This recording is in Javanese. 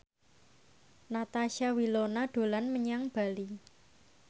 Natasha Wilona dolan menyang Bali